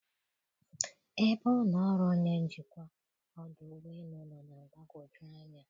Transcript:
Ebe ụlọ ọrụ onye njikwa ọdụ ụgbọ elu nọ na-agbagwoju anya.